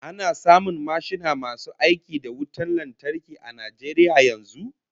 Ana samun mashina masu aiki da wutan lantarki a Najeriya yanzu?